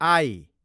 I